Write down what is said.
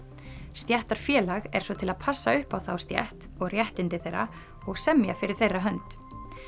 stéttarfélag er svo til að passa upp á þá stétt og réttindi þeirra og semja fyrir þeirra hönd